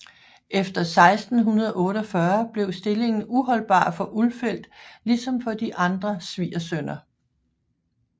Efter 1648 blev stillingen uholdbar for Ulfeldt ligesom for de andre svigersønner